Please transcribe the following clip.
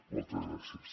moltes gràcies